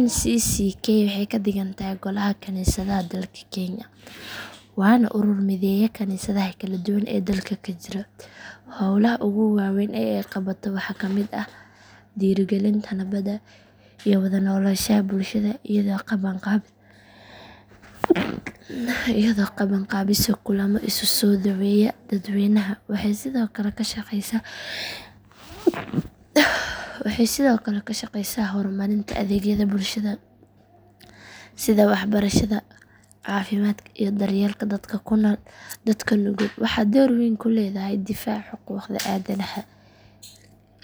Ncck waxay ka dhigan tahay golaha kaniisadaha dalka kenya waana urur mideeya kaniisadaha kala duwan ee dalka ka jira howlaha ugu waaweyn ee ay qabato waxaa ka mid ah dhiirrigelinta nabadda iyo wada noolaanshaha bulshada iyadoo qabanqaabiso kulamo isu soo dhoweeya dadweynaha waxay sidoo kale ka shaqeysaa horumarinta adeegyada bulshada sida waxbarashada caafimaadka iyo daryeelka dadka nugul waxay door weyn ku leedahay difaaca xuquuqda aadanaha